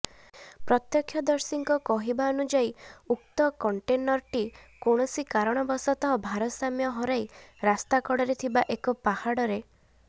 ପ୍ରତକ୍ଷ୍ୟଦର୍ଶୀଙ୍କ କହିବାନୁଯାୟୀ ଉକ୍ତ କଣ୍ଟେନରଟି କୌଣସି କାରଣବଶତଃ ଭାରସାମ୍ୟ ହରାଇ ରାସ୍ତାକଡ଼ରେ ଥିବା ଏକ ପାହାଡ଼ରେ